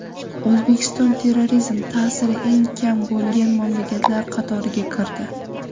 O‘zbekiston terrorizm ta’siri eng kam bo‘lgan mamlakatlar qatoriga kirdi.